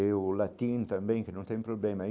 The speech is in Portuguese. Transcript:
E o latim também, que não tem problema.